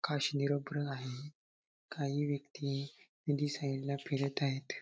आकाश निरभ्र आहे काही व्यक्ती नदी साईडला फिरत आहेत.